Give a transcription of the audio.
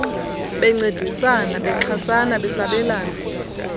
bencedisana bexhasana besabelana